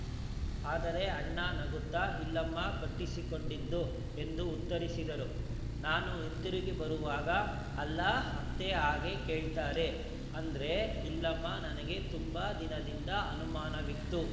ಆದರೆ ಅಣ್ಣಾ ನಗುತ್ತಾ ಇಲ್ಲಮ್ಮ ಕಟ್ಟಿಸಿಕೊಂಡದ್ದು ಎಂದು ಉತ್ತರಿಸಿದ್ದರು ನಾನು ಹಿಂತಿರುಗಿ ಬರುವಾಗ ಅಲ್ಲ ಅತ್ತೆ ಹಾಗೆ ಕೇಳ್ತಾರ ಅಂದ್ರೆ ಇಲ್ಲಮ್ಮ ನನಗೆ ತುಂಬಾ ದಿನದಿಂದ ಅನುಮಾನವಿತ್ತು